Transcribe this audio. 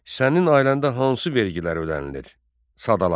Sənin ailəndə hansı vergilər ödənilir, sadala.